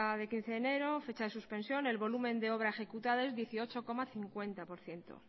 de quince de enero fecha de suspensión el volumen de obra ejecutado es dieciocho coma cincuenta por ciento